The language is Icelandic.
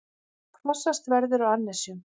Hvassast verður á annesjum